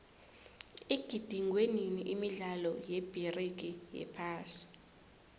igidingwenini imidlalo yebigiri yephasi